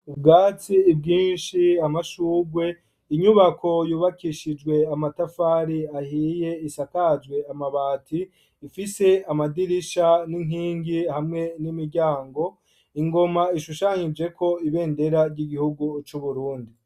Ubwatsi bwinshi amashugwe inyubako yubakishijwe amatafari ahiye isakajwe amabati ifise amadirisha n'inkingi hamwe n'imiryango ingoma ishushanyije ko ibendera ry'igihugu c'uburundi.